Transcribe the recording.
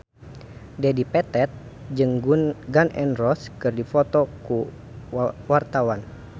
Dedi Petet jeung Gun N Roses keur dipoto ku wartawan